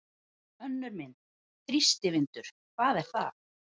Önnur mynd: Þrýstivindur- hvað er það?